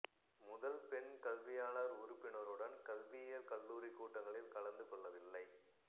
முதல் பெண் கல்வியாளர் உறுப்பினருடன் கல்வியியல் கல்லூரி கூட்டங்களில் கலந்து கொள்ளவில்லை